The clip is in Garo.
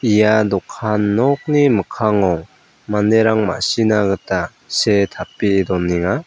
ia dokan nokni mikkango manderang ma·sina gita see tape donenga.